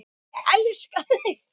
Og ég elska þig!